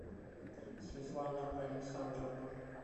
светлана александровна